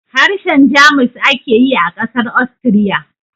Harshen Jamus ake yi a ƙasar Austria